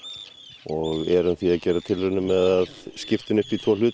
og erum því að gera tilraunir með að skipta henni upp í tvo hluta